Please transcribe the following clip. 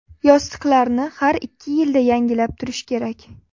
Yostiqlarni har ikki yilda yangilab turish kerak.